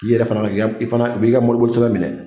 I yɛrɛ fana bɛ ka i fana a b'a mobiliko sɛbɛn minɛ